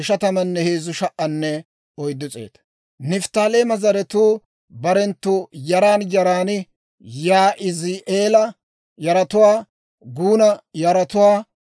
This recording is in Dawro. Nifttaaleema zaratuu barenttu yaran yaran: Yaa'izi'eela yaratuwaa, Guuna yaratuwaa,